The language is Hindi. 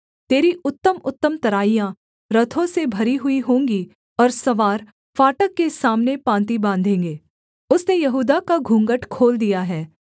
तेरी उत्तमउत्तम तराइयाँ रथों से भरी हुई होंगी और सवार फाटक के सामने पाँति बाँधेंगे